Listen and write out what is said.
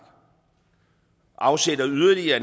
afsætter yderligere